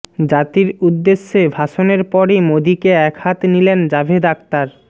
জাতির উদ্দেশ্যে ভাষণের পরই মোদীকে একহাত নিলেন জাভেদ আখতার